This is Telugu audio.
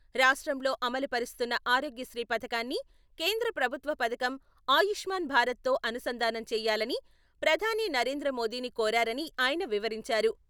రాష్ట్రంలో అమలు పరుస్తున్న ఆరోగ్యశ్రీ పథకాన్ని కేంద్ర ప్రభుత్వ పథకం ఆయుష్మాన్ భారత్‌తో అనుసంధానం చేయాలని ప్రధాని నరేంద్ర మోదీని కోరారని ఆయన వివరించారు.‌